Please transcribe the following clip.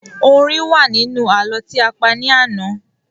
Orin wa ni inú ààlọ́ ti a pa ní àná